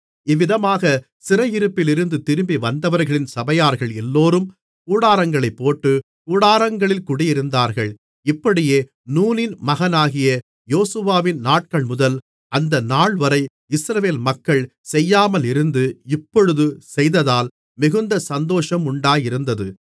இவ்விதமாகச் சிறையிருப்பிலிருந்து திரும்பி வந்தவர்களின் சபையார்கள் எல்லோரும் கூடாரங்களைப் போட்டு கூடாரங்களில் குடியிருந்தார்கள் இப்படியே நூனின் மகனாகிய யோசுவாவின் நாட்கள்முதல் அந்த நாள்வரை இஸ்ரவேல் மக்கள் செய்யாமலிருந்து இப்பொழுது செய்ததால் மிகுந்த சந்தோஷமுண்டாயிருந்தது